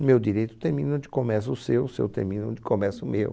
O meu direito termina onde começa o seu, o seu termina onde começa o meu.